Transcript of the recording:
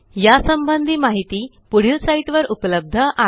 या संबंधी माहिती पुढील साईटवर उपलब्ध आहे